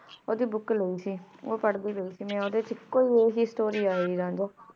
ਮੈਂ book ਮੈਂ ਵੀ ਪਢ਼ ਲੇਨੀ ਆਂ ਓੜੀ story ਲੈ ਸੀ ਊ ਪਰ੍ਹਦੀ ਰਹੀ ਤੇ ਮੈਂ ਓਦੇ